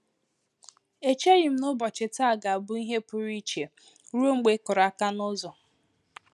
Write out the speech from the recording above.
Echeghị m na ụbọchị taa ga-abụ ihe pụrụ iche, ruo mgbe ịkụrụ aka n'ụzọ